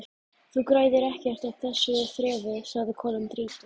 Þú græðir ekkert á þessu þrefi sagði konan þreytu